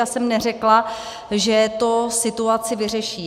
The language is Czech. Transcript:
Já jsem neřekla, že to situaci vyřeší.